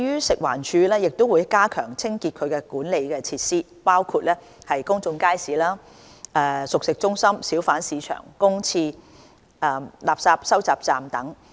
食環署會加強清潔其管理的設施，包括公眾街市、熟食中心、小販市場、公廁、垃圾收集站等。